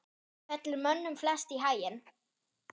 fellur mönnum flest í haginn